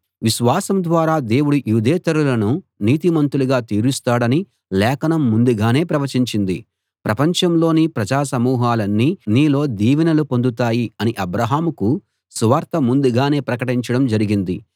విశ్వాసం ద్వారా దేవుడు యూదేతరులను నీతిమంతులుగా తీరుస్తాడని లేఖనం ముందుగానే ప్రవచించింది ప్రపంచంలోని ప్రజా సమూహాలన్నీ నీలో దీవెనలు పొందుతాయి అని అబ్రాహాముకు సువార్త ముందుగానే ప్రకటించడం జరిగింది